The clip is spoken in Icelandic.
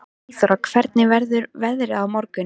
Eyþóra, hvernig verður veðrið á morgun?